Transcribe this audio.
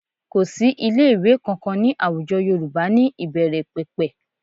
Kò sí ilé-ìwẹ́ kankan ní àwùjọ Yorùbá ní ìbẹ̀rẹ̀pẹ̀pẹ̀